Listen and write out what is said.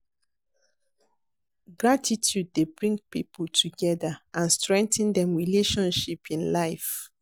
Gratitude dey bring people together and strengthen dem relationship in life.